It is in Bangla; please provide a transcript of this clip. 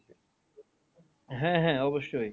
হ্যাঁ হ্যাঁ অবশ্যই।